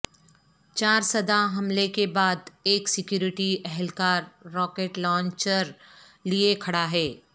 چارسدہ حملے کے بعد ایک سکیورٹی اہلکار راکٹ لانچر لیے کھڑا ہے